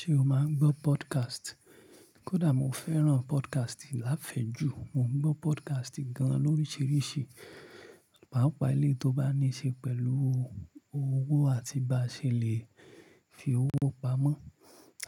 Ṣé o máa ń gbọ́ podcast? Kódà mo fẹ́ràn podcast láfẹ̀ẹ́ ju, mo ń gbọ́ podcast gan an lóríṣiríṣi, pàápàá eléi tó bá níí ṣe pẹ̀lú owó àti bá ṣe lè fi owó pamọ́.